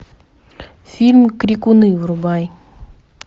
фильм крикуны врубай